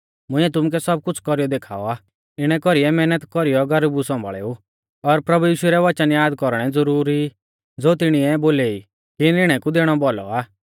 मुंइऐ तुमुकै सब कुछ़ कौरीयौ देखाऔ आ इणै कौरीऐ मैहनत कौरीयौ गरीबु सौंभाल़ेऊ और प्रभु यीशु रै वचन याद कौरणै ज़ुरुरी ई ज़ो तिणीऐ आपु बोलेई कि निणै कु दैणौ भौलौ आ